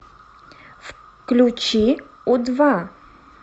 включи у два